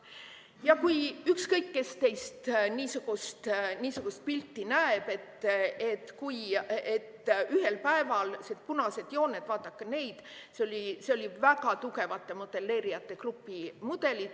Ja kui ükskõik kes teist niisugust pilti näeb, vaadake neid punaseid jooni – see oli väga tugevate modelleerijate grupi mudel.